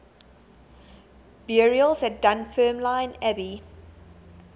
burials at dunfermline abbey